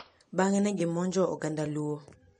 Bang'e ne gimonjo oganda Luo.